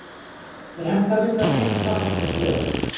Er hægt að vinna hreint vatn úr sjó?